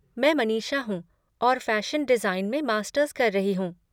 मैं मनीषा हूँ और फ़ैशन डिज़ाइन में मास्टर्स कर रही हूँ।